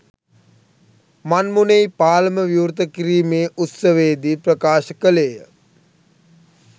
මන්මුනෙයි පාලම විවෘත කිරීමේ උත්සවයේ දී ප්‍රකාශ කළේය.